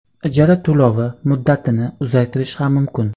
ijara to‘lovi muddatini uzaytirish ham mumkin.